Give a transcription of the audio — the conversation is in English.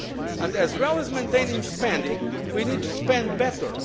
And as well as maintaining spending, we need to spend better.